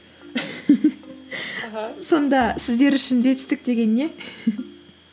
аха сонда сіздер үшін жетістік деген не